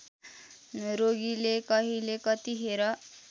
रोगीले कहिले कतिखेर